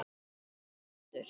Fundur er settur!